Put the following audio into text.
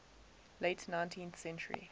late nineteenth century